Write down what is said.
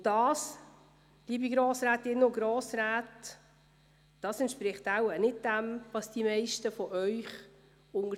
Und das, liebe Grossrätinnen und Grossräte, entspricht wohl nicht dem, was die meisten von Ihnen